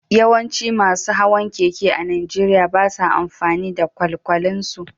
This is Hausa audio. Yawancin masu hawan keke a Najeriya ba sa amfani da kwalkwalinsu